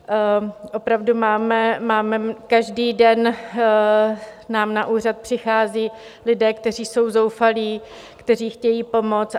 Opravdu máme, každý den nám na úřad přicházejí lidé, kteří jsou zoufalí, kteří chtějí pomoc.